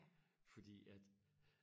fordi at